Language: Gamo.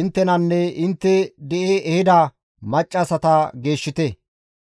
inttenanne intte di7i ehida maccassata geeshshite.